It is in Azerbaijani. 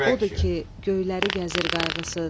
Odur ki, göyləri gəzir qayğısız.